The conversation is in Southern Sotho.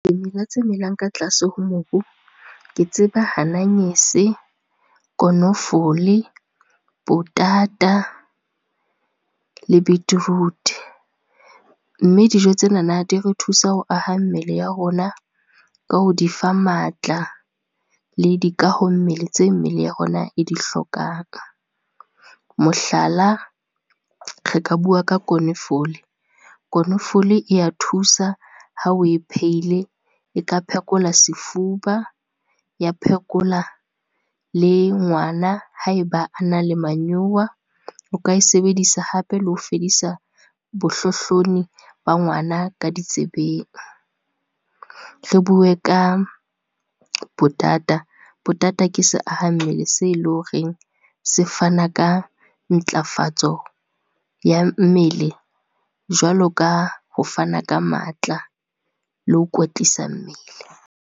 Dimela tse melang ka tlase ho mobu, ke tseba ananyese, konofole, potata le beetroot. Mme dijo tsenana di re thusa ho aha mmele ya rona ka ho di fa matla, le di kaho mmele tse mmele ya rona e di hlokang. Mohlala, re ka bua ka konofole, konofole e ya thusa hao e pheile, e ka phekola sefuba, ya phekola le ngwana haeba a na le manyowa, o ka e sebedisa hape le ho fedisa bohlohloni ba ngwana ka ditsebeng. Re bue ka potata, potata ke se aha mmele se le horeng se fana ka ntlafatso ya mmele jwalo ka ho fana ka matla le ho kwetlisa mmele.